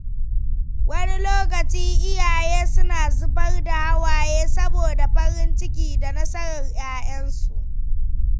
Wani lokaci iyaye suna zubar da hawaye saboda farin ciki da nasarar ‘ya’yansu.